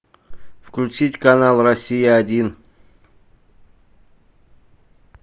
включить канал россия один